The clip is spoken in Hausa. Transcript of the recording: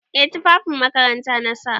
Eh tufafin makaranta na sa.